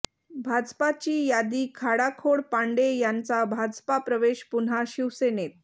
भाजपाची यादी खाडाखोड पांडे यांचा भाजपा प्रवेश पुन्हा शिवसेनेत